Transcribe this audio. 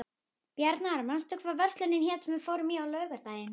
Bjarnar, manstu hvað verslunin hét sem við fórum í á laugardaginn?